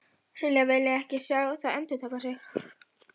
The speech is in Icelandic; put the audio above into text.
Silla vilji ekki sjá það endurtaka sig.